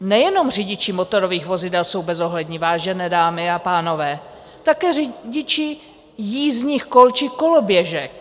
Nejenom řidiči motorových vozidel jsou bezohlední, vážené dámy a pánové, také řidiči jízdních kol či koloběžek.